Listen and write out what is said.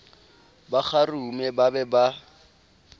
ba kgarume ba be ba